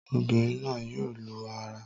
Obìnrin náà yóò lu ara